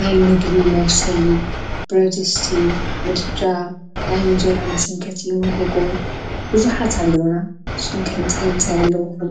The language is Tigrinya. ናይ ምግቢ መብሰሊ ብረድስቲ ምድጃ ናይ ንጀራ መሰንቀቲ ምጐጎ ብዙኃት ኣለዉና ስቶም ከንታይ ምታይኣለዉፍን